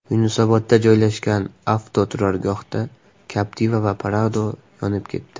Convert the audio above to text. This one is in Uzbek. Yunusobodda joylashgan avtoturargohda Captiva va Prado yonib ketdi.